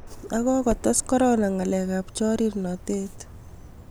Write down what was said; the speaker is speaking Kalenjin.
ak kokotes korona ngalek ab chornatet